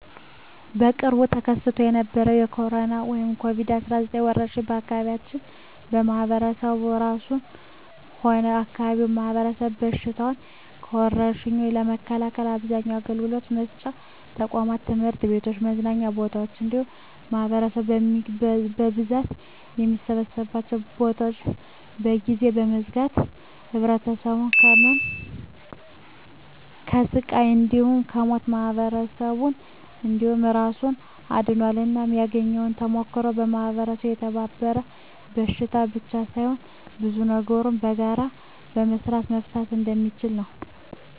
በቅርቡ ተከስቶ በነበረዉ በኮሮና(ኮቪድ 19) ወረርሽ የአካባቢያችን ማህበረሰብ እራሱንም ሆነ የአካባቢውን ማህበረሰብ ከበሽታዉ (ከወርሽኙ) ለመከላከል አብዛኛዉን አገልግሎት መስጫ ተቋማት(ትምህርት ቤቶችን፣ መዝናኛ ቦታወችን እንዲሁም ማህበረሰቡ በብዛት የሚሰበሰብባቸዉን ቦታወች) ለጊዜዉ በመዝጋት ማህበረሰቡን ከህመም፣ ከስቃይ እንዲሁም ከሞት ማህበረሰብን እንዲሁም እራሱን አድኗል። እናም ያገኘኋቸዉ ተሞክሮወች ማህበረሰቡ ከተባበረ በሽታን ብቻ ሳይሆን ብዙ ነገሮችን በጋራ በመስራት መፍታት እንደሚችል ነዉ።